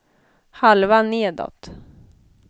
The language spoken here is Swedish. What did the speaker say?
halva nedåt